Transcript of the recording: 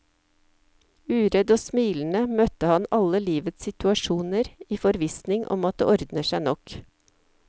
Uredd og smilende møtte han alle livets situasjoner i forvissning om at det ordner seg nok.